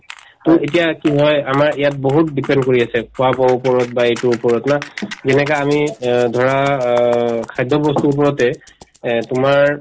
to এতিয়া কি হয় আমাৰ ইয়াত বহুত depend কৰি আছে খোৱা-বোৱাৰ ওপৰত বা এইটোৰ ওপৰত না যেনেকা আমি অ ধৰা অ খাদ্যবস্তুৰ ওপৰতে এহ্ তোমাৰ